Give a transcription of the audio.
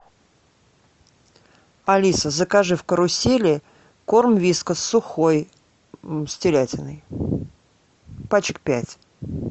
алиса закажи в карусели корм вискас сухой с телятиной пачек пять